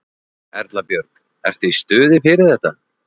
Erla Björg: Ertu í stuði fyrir þetta?